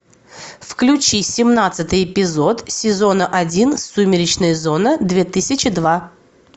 включи семнадцатый эпизод сезона один сумеречная зона две тысячи два